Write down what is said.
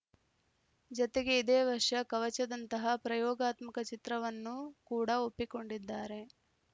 ಜತೆಗೆ ಇದೇ ವರ್ಷ ಕವಚದಂತಹ ಪ್ರಯೋಗಾತ್ಮಕ ಚಿತ್ರವನ್ನು ಕೂಡ ಒಪ್ಪಿಕೊಂಡಿದ್ದಾರೆ